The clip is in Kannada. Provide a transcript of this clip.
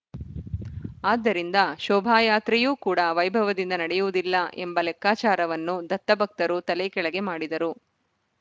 ಅದ್ದರಿಂದ ಶೋಭಾಯಾತ್ರೆಯೂ ಕೂಡ ವೈಭವದಿಂದ ನಡೆಯುವುದಿಲ್ಲ ಎಂಬ ಲೆಕ್ಕಾಚಾರವನ್ನು ದತ್ತಭಕ್ತರು ತಲೆ ಕೆಳಗೆ ಮಾಡಿದರು